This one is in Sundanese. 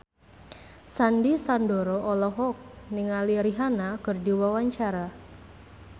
Sandy Sandoro olohok ningali Rihanna keur diwawancara